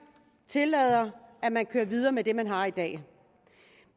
tillader at man kører videre med det man har i dag